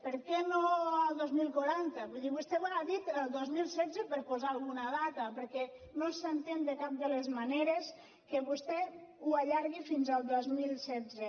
per què no el dos mil quaranta vull dir vostè ha dit el dos mil setze per posar alguna data perquè no s’entén de cap de les maneres que vostè ho allargui fins al dos mil setze